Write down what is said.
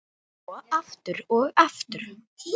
Og svo aftur, og aftur.